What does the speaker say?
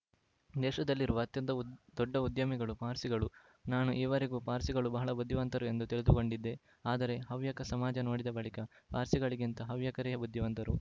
ದೇಶದಲ್ಲಿರುವ ಅತ್ಯಂತ ಉದ್ ದೊಡ್ಡ ಉದ್ಯಮಿಗಳು ಪಾರ್ಸಿಗಳು ನಾನು ಈವರೆಗೂ ಪಾರ್ಸಿಗಳು ಬಹಳ ಬುದ್ಧಿವಂತರು ಎಂದು ತಿಳಿದುಕೊಂಡಿದ್ದೆ ಆದರೆ ಹವ್ಯಕ ಸಮಾಜ ನೋಡಿದ ಬಳಿಕ ಪಾರ್ಸಿಗಳಿಗಿಂತ ಹವ್ಯಕರೇ ಬುದ್ಧಿವಂತರು